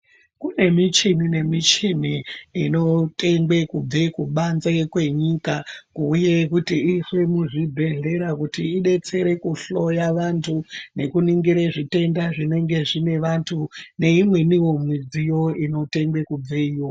Kune michini nemichini inotengwa kubva kubanze kwenyika kuuya kuti iiswe muzvibhedhlera kuti idetsere kuhloya vantu nekuningura zvitenda zvinenge zvine vantu neimweniwo midziyo inotemwa kubveyo.